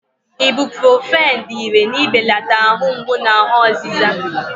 Ibuprọfen dị ìrè n'ibelata ahụ mgbu na ahụ ọzịza.